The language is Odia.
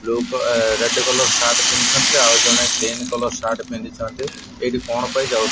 ବ୍ଲୁ ରେଡ୍ କଲର୍ ସାର୍ଟ ପିନ୍ଧିଛନ୍ତି। ଆଉ ଜଣେ ଗ୍ରୀନ କଲର୍ ସାର୍ଟ ପିନ୍ଧିଛନ୍ତି ଏଇଠି କଣ ପାଇଁ ଯାଉଛନ୍ତି।